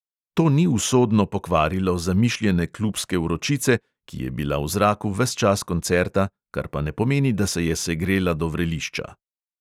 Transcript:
To ni usodno pokvarilo zamišljene klubske vročice, ki je bila v zraku ves čas koncerta, kar pa ne pomeni, da se je segrela do vrelišča.